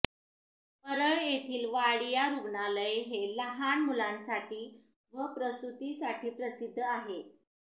परळ येथील वाडिया रुग्णालय हे लहान मुलांसाठी व प्रसुतिसाठी प्रसिध्द आहे